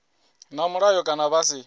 na mulayo kana vha si